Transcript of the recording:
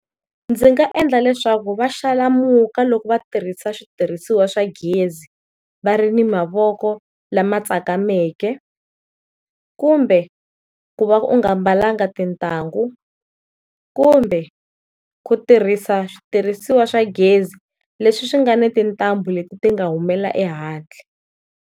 Ndzi nga endla leswaku va xalamuka loko va tirhisa switirhisiwa swa gezi va ri ni mavoko lama tsakameke, kumbe ku va u nga mbalanga tintangu kumbe ku tirhisa switirhisiwa swa gezi leswi swi nga ni tintambu leti ti nga humela ehandle.